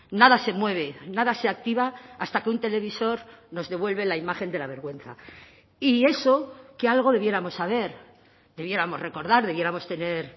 nada se mueve nada se activa hasta que un televisor nos devuelve la imagen de la vergüenza y eso que algo debiéramos saber debiéramos recordar debiéramos tener